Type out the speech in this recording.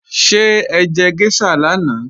Ṣé ẹjẹ géṣà lánàá?